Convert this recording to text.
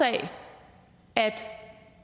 af at